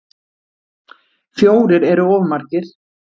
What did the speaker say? Fjórir eru of margir.